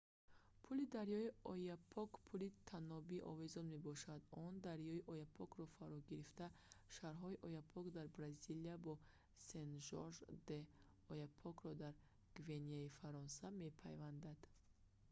пули дарёи ояпок пули танобии овезон мебошад он дарёи ояпокро фаро гирифта шаҳрҳои ояпок дар бразилия бо сен-жорж де л'ояпокро дар гвианаи фаронса мепайвандад